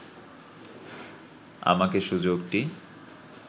আমাকে সুযোগটি